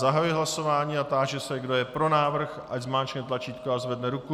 Zahajuji hlasování a táži se, kdo je pro návrh, ať zmáčkne tlačítko a zvedne ruku.